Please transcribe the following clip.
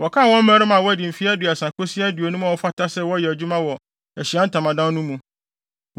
Wɔkan wɔn mmarima a wɔadi mfe aduasa kosi aduonum a wɔfata sɛ wɔyɛ adwuma wɔ Ahyiae Ntamadan no mu.